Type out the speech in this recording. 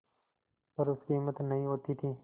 पर उसकी हिम्मत नहीं होती थी